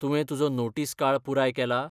तुवें तुजो नोटीस काळ पुराय केला?